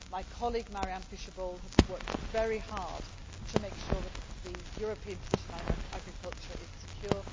round. My colleague Mariann Fischer Boel has worked very hard to make sure that the European position on agriculture is secure.